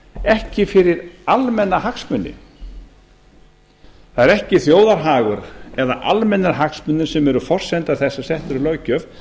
ekki fyrir almenna hagsmuni það er ekki þjóðarhagur eða almennir hagsmunir sem eru forsenda þess að sett er löggjöf